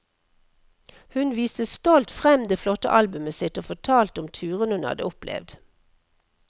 Hun viste stolt frem det flotte albumet sitt, og fortalte om turene hun hadde opplevd.